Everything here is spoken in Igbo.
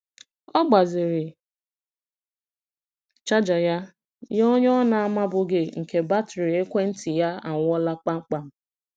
Ọ gbaziri chaja ya nye onye ọ na-amabughị nke batrị ekwentị ya anwụọla kpamkpam.